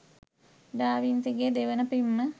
ඩා වින්සිගේ දෙවන පිම්ම